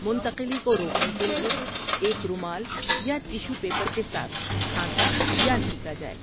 منتقلی کو روکنے کے لیے، ایک رومال یا ٹیشو پیپر کے ساتھ کھانسا یا چھینکا جائے۔